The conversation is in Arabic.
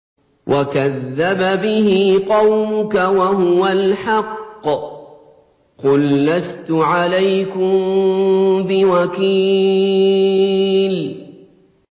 وَكَذَّبَ بِهِ قَوْمُكَ وَهُوَ الْحَقُّ ۚ قُل لَّسْتُ عَلَيْكُم بِوَكِيلٍ